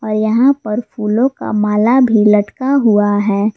और यहां पर फूलों का माला भी लटका हुआ है।